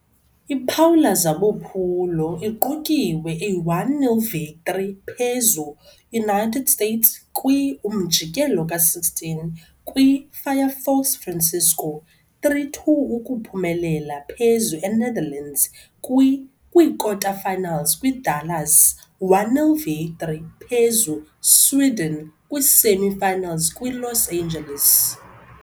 Iphawula zabo phulo iqukiwe a 1-0 victory phezu - United States kwi-umjikelo ka-16 kwi - Firefox Francisco, 3-2 ukuphumelela phezu Enetherlands kwi-kwikota-finals kwi - Dallas, 1-0 victory phezu Sweden kwi-semi-finals kwi - Los Angeles.